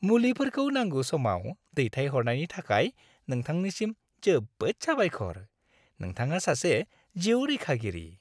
मुलिफोरखौ नांगौ समाव दैथायहरनायनि थाखाय नोंथांनिसिम जोबोद साबायखर! नोंथाङा सासे जिउ रैखागिरि।